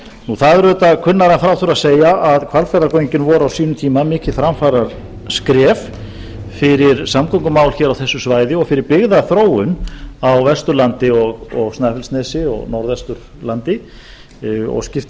það er auðvitað kunnara en frá þurfi að segja að hvalfjarðargöngin voru á sínum tíma mikið framfaraskref fyrir samgöngumál hér á þessu svæði og fyrir byggðaþróun á vesturlandi og snæfellsnesi og norðvesturlandi og skipti